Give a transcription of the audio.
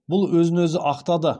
бұл өзін өзі ақтады